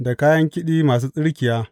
Da kayan kiɗi masu tsirkiya.